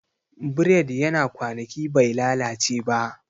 Bread yana kwanaki bai lalace ba